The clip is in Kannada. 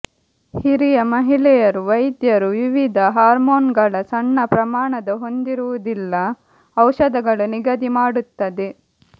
ಹಿರಿಯ ಮಹಿಳೆಯರು ವೈದ್ಯರು ವಿವಿಧ ಹಾರ್ಮೋನುಗಳ ಸಣ್ಣ ಪ್ರಮಾಣದ ಹೊಂದಿರುವುದಿಲ್ಲ ಔಷಧಗಳು ನಿಗದಿ ಮಾಡುತ್ತದೆ